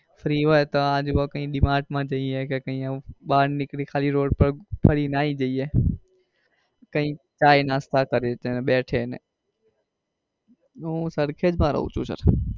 free હોઈએ તો આજુ બાજુ d mart માં જઈએ કે એવું બાર નીકળી ને ખાલી road પર ફરી ને આવી જઈએ કઈ ચાઇ નાસ્તા ને કરીએ ને બેસીએ ને. હું સરખેજ માં રહું છું sir.